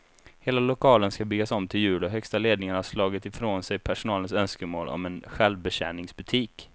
Hela lokalen ska byggas om till jul och högsta ledningen har slagit ifrån sig personalens önskemål om en självbetjäningsbutik.